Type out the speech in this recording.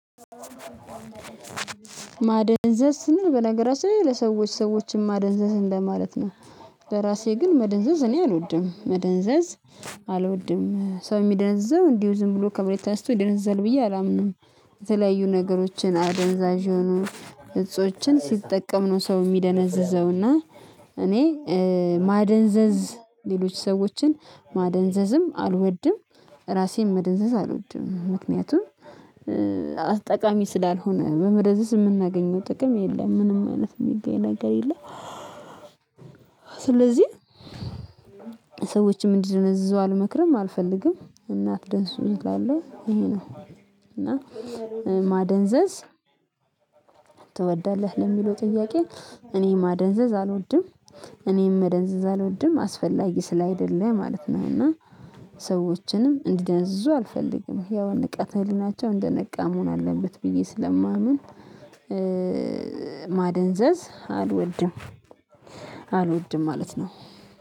ማደንዘዝ ስንል በነገራችን ላይ ለሰዎች ሰዎችን ማደንዘዝ እንደማለት ነው። ለራሴ ግን መደንዘዝ እኔ አልወድም። መደንዘዝ አልወድም። ሰው የሚደነዝዘው እንዲሁ ዝም ብሎ ከመሬት ተነስቶ ይደነዘዛል ብዬ አላምንም። የተለያዩ ነገሮችን አደንዛዥ የሆኑ እጾችን ሲጠቀም ነው ሰው የሚደነዝዘው። እና እኔ ማደንዘዝ ሌሎች ሰዎችን ማደንዘዝም አልወድም። ራሴም መደንዘዝ አልወድም ምክንያቱም ጠቃሚ ስላልሆነ በመደንዘዝ የምናገኘው ጥቅም የለም ምንም አይነት የሚገኝ ነገር የለም። ስለዚህ ሰዎችም እንዲደነዝዙ አልመክርም አልፈልግም እና አትደንዝዙ እላለሁ ይሄ ነው። እና ማደንዘዝ ትወዳለህ? ለሚለው ጥያቄ እኔ ማደንዘዝ አልወድም። እኔም መደንዘዝ አልወድም አስፈላጊ ስላይደለ ማለት ነው እና ሰዎችንም እንዲደነዝዙ አልፈልግም። ያው ንቃተ- ሄሊናቸው እንደነቃ መሆን አለበት ብዬ ስለማምን። ማደንዘዝ አልወድም። አልወድም ማለት ነው